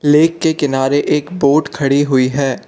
Lake के किनारे एक बोट खड़ी हुई है।